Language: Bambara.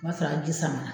O b'a sɔrɔ a ji samara